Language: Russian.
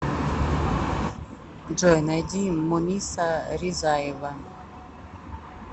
джой найди муниса ризаева